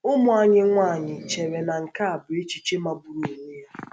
Ụmụ anyị nwanyị chere na nke a bụ echiche magburu onwe ya.